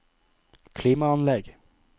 klimaanlegg